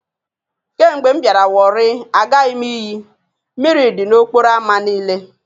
Kemgbe m biara warri, agaghi m iyi.. Mmiri di n'okporo ámá niile